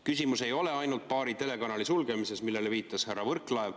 Küsimus ei ole ainult paari telekanali sulgemises, millele viitas härra Võrklaev.